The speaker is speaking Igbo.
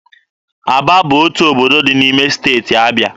Aba bụ otu obodo dị n'ime Steeti Abịa.